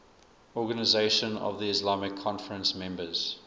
organisation of the islamic conference members